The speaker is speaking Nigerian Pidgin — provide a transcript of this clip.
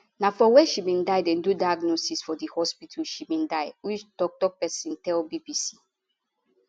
na for wia she bin dey do diagnosis for di hospital she bin die uch toktok pesin tell bbc